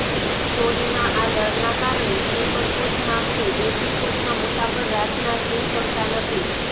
ચોરીના આ ડરના કારણે સ્લીપર કોચમાં કે એસી કોચમાં મુસાફર રાતના સુઈ શકતા નથી